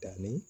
Danni